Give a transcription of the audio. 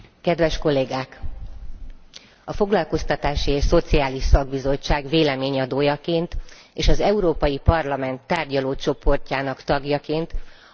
A Foglalkoztatási és Szociális Bizottság véleményének előadójaként és az Európai Parlament tárgyalócsoportjának tagjaként kijelenthetem, hogy hatalmas munkát végeztünk el.